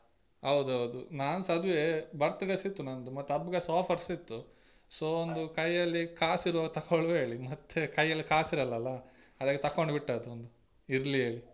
ಹೌದೌದು ನಾನ್ಸ ಅದುವೆ birthday ಸ ಇತ್ತು ನಂದು ಮತ್ತೆ ಹಬ್ಬಕ್ಕೆಸ offer ಸ ಇತ್ತು so ಒಂದು ಕೈಯಲ್ಲಿ ಕಾಸಿರುವಾಗ ತಕೊಳುವ ಹೇಳಿ ಮತ್ತೆ ಕೈಯಲ್ಲಿ ಕಾಸಿರಲ್ಲ ಅಲ್ಲ ಅದಕ್ಕೆ ತಕೊಂಡು ಬಿಟ್ಟದ್ದು ಒಂದ್ ಇರ್ಲಿ ಹೇಳಿ.